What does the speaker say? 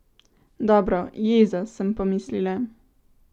Dobro, jeza, sem pomislila.